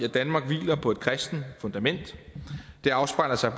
danmark hviler på et kristent fundament det afspejler sig